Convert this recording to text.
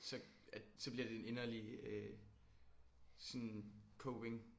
Så øh bliver det en inderlig øh sådan coping?